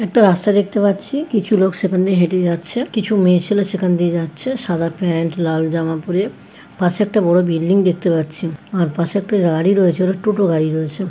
একটা রাস্তা দেখতে পাচ্ছি কিছু লোক সেখানে হেঁটে যাচ্ছে কিছু মেয়ে ছেলে সেখান দিয়ে যাচ্ছে সাদা প্যান্ট লাল জামা পড়ে পাশে একটা বড়ো বিল্ডিং দেখতে পাচ্ছি আর পাশে একটা গাড়ি রয়েছে টোটো গাড়ি রয়েছে।